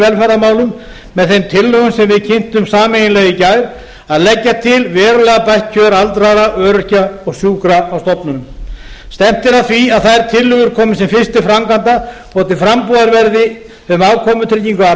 velferðarmálum með þeim tillögum sem við kynntum sameiginlega í gær um að leggja til verulega bætt kjör aldraðra öryrkja og sjúkra á stofnunum stefnt er að því að þær tillögur komist sem fyrst til framkvæmda og að til framtíðar verði um afkomutryggingu að